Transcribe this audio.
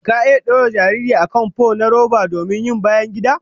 Ka iya dora jariri a kan fo na roba domin yin bayangida?